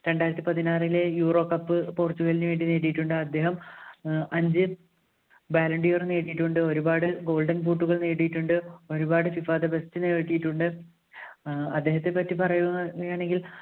രണ്ടായിരത്തി പതിനാറിലെ Euro cup പോർച്ചുഗലൈന് വേണ്ടി നേടിയിട്ടുണ്ട് അദ്ദേഹം അഞ്ച് ballon d'or നേടിയിട്ടുണ്ട് ഒരുപാട് golden boot കൾ നേടിയിട്ടുണ്ട് ഒരുപാട് FIFA കിട്ടിയിട്ടുണ്ട് ഏർ അദ്ദേഹത്തെപ്പറ്റി പറയുകയാണെങ്കിൽ